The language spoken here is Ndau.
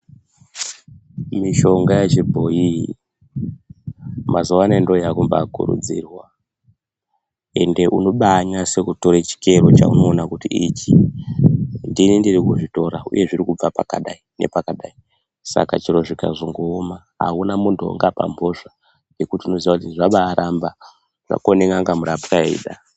Mishonga yechibhoyi mazuwanaya ndiyo yakumba kurudzirwa ende unombanase kutora chikero chaunona kuti ichi ndini ndiri kuzvitora uye zviri kubva pakadai nepakadai. Saka chero zvikazongooma auna muntu weungapa mhosva ngekuti unombaziya kuti zvakoneka murapwa eida.